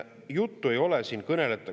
Juttu ei ole, siin kõnele…